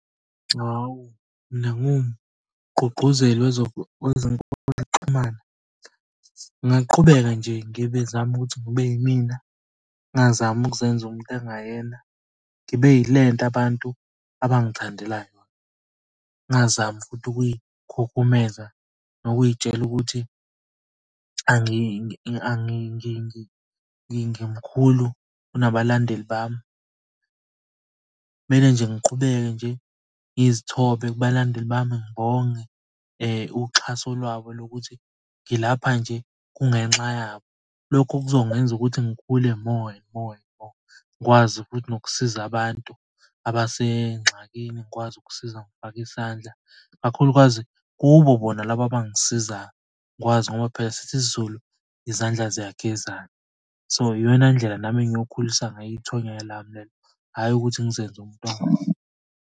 Hhawu mina ngiwumgqugquzeli wezokuxhumana, ngingaqhubeka nje, ngibe zame ukuthi ngibe yimina. Ngingazami ukuzenza umuntu engingayena, ngibe yile nto abantu abangithandela yona. Ngingazami futhi ukuy'khukhumeza nokuy'tshela ukuthi ngimkhulu kunabalandeli bami. Kumele nje ngiqhubeke nje ngizithobe kubalandeli bami, ngibonge uxhaso lwabo lokuthi ngilapha nje kungenxa yabo. Lokho kuzongenza ukuthi ngikhule More and more and more, ngikwazi futhi nokusiza abantu abasengxakini. Ngikwazi ukusiza ngokufaka isandla, kakhulukazi kubo bona laba abangisizayo. Ngikwazi ngoba phela sithi isizulu izandla ziyagezana. So iyona ndlela nami engiyokhulisa ngayo ithonya lami lelo hhayi ukuthi ngizenze umuntu ongazi.